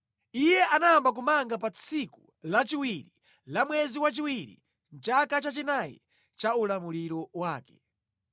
Iye anayamba kumanga pa tsiku lachiwiri la mwezi wachiwiri mʼchaka chachinayi cha ulamuliro wake.